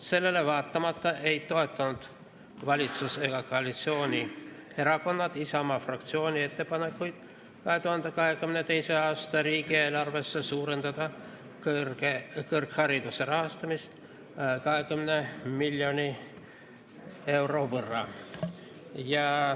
Sellele vaatamata ei toetanud valitsus ega koalitsioonierakonnad Isamaa fraktsiooni ettepanekuid 2022. aasta riigieelarves suurendada kõrghariduse rahastamist 20 miljoni euro võrra.